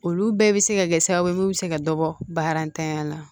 Olu bɛɛ bɛ se ka kɛ sababu ye mun bɛ se ka dɔ bɔ barantanya la